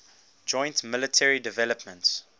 joint military developments